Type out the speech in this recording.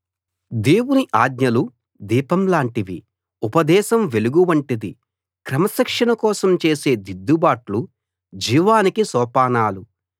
దేవుని ఆజ్ఞలు దీపం లాంటివి ఉపదేశం వెలుగు వంటిది క్రమశిక్షణ కోసం చేసే దిద్దుబాట్లు జీవానికి సోపానాలు